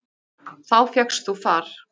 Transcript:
Þá fékkst þú far.